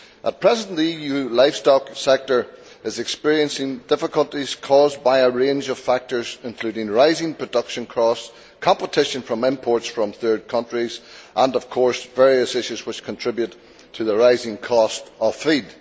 At present, the EU livestock sector is experiencing difficulties caused by a range of factors, including rising production costs, competition from imports from third countries, and, of course, various issues which contribute to the rising cost of feed.